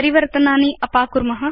परिवर्तनानि अपाकुर्म